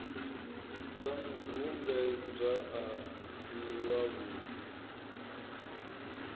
sa mubvumbedzwa a si wavhudi